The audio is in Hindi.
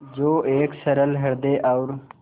जो एक सरल हृदय और